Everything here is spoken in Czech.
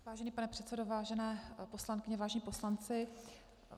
Vážený pane předsedo, vážené poslankyně, vážení poslanci.